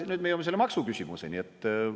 Ja nüüd me jõuame selle maksuküsimuseni.